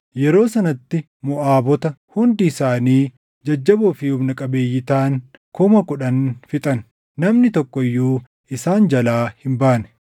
Yeroo sanatti Moʼaabota hundi isaanii jajjaboo fi humna qabeeyyii taʼan kuma kudhan fixan; namni tokko iyyuu isaan jalaa hin baane.